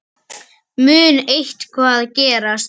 Mun eitthvað gerast?